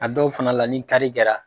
A dɔw fana la ni kari kɛra